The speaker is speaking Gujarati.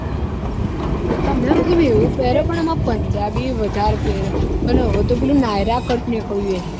પણ એમાં punjabi વધારે પેરે અને હવે તો પીલુ nayra cut નીકળ્યું હૈ